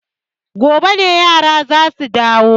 Gobe ne yara za su dawo.